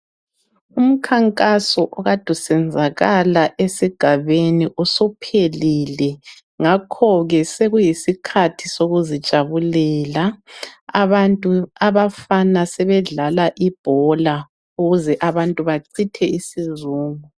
Umkhankaso okade usenzakala esigabeni usuphelile. Ngakho ke sekuyisikhathi sokuzijabulela.. Abafana sebedlala ibhola. Ukuze abantu bachithe isizungu,